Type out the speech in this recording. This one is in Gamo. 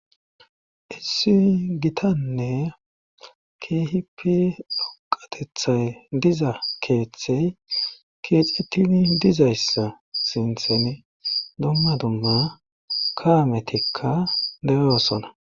Issiy gitanne khipi dhoqatethay diza keeththey keexetini dizayssa sintheni dummadumma kaametikka deyoosona